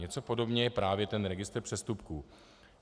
Něco podobného je právě ten registr přestupků.